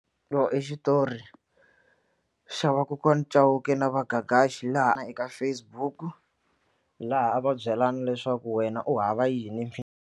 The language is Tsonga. I xitori xa va kokwana Chauke na va Gagash laha eka Facebook laha a va byelana leswaku wena u hava yini.